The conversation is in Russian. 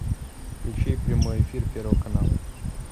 включи прямой эфир первого канала